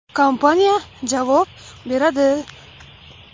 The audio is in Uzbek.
Kompaniya javob beradi.